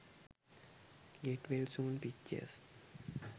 get well soon pictures